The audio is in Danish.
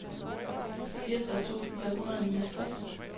fireogtres tusind fem hundrede og niogtres